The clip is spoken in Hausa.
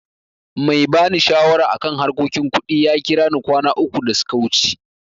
Mai ba ni shawara a kan harkokin kuɗi ya kira ni kwana uku da suka wuce.